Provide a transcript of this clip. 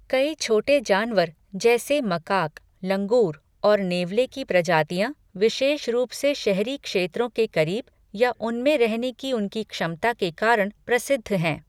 कई छोटे जानवर जैसे मकाक, लंगूर और नेवले की प्रजातियाँ विशेष रूप से शहरी क्षेत्रों के करीब या उनमें रहने की उनकी क्षमता के कारण प्रसिद्ध हैं।